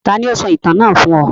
Taàní ó sọ ìtàn náà fún ọ?